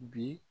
Bi